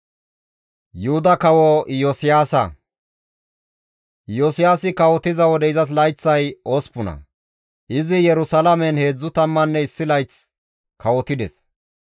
Iyosiyaasi kawotiza wode izas layththay 8; izi Yerusalaamen 31 layth kawotides.